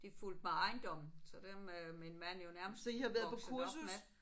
De fulgte med ejendommen så dem er min mand jo nærmest vokset op med